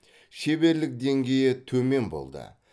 шеберлік деңгейі төмен болды